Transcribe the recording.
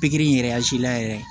Pikiri in yɛrɛ la yɛrɛ